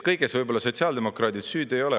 Kõiges võib-olla sotsiaaldemokraadid süüdi ei ole.